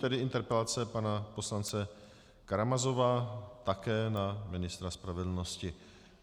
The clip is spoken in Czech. Nyní interpelace pana poslance Karamazova, také na ministra spravedlnosti.